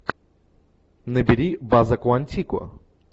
набери база куантико